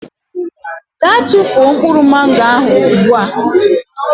Gaa tụfuo mkpụrụ Mango ahụ ugbu a.